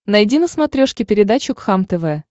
найди на смотрешке передачу кхлм тв